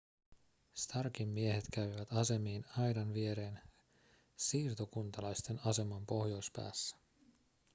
starkin miehet kävivät asemiin aidan viereen siirtokuntalaisten aseman pohjoispäässä